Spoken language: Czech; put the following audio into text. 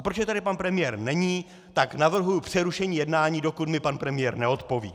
A protože tady pan premiér není, tak navrhuji přerušení jednání, dokud mi pan premiér neodpoví.